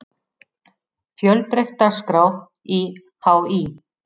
Fjölbreytt dagskrá í HÍ